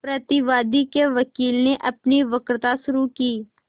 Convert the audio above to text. प्रतिवादी के वकील ने अपनी वक्तृता शुरु की